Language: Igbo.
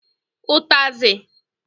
Utazi